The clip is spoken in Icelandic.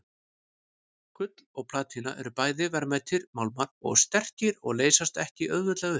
Gull og platína eru bæði verðmætir málmar og sterkir og leysast ekki auðveldlega upp.